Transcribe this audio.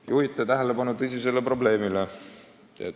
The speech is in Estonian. Te juhite tähelepanu tõsisele probleemile.